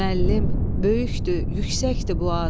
Müəllim, böyükdür, yüksəkdir bu ad.